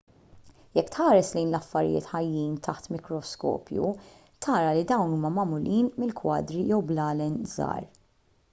jekk tħares lejn l-affarijiet ħajjin taħt mikroskopju tara li dawn huma magħmulin minn kwadri jew blalen żgħar